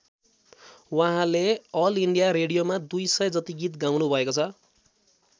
उहाँले all India रेडियोमा दुई सय जति गीत गाउनुभएको छ।